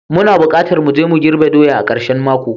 Muna bukatar mu je mu girbe doya a karshen mako.